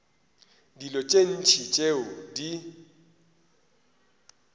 dilo tše ntši tšeo di